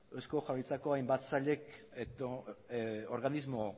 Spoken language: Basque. eusko jaurlaritzako hainbat sailek edo organismo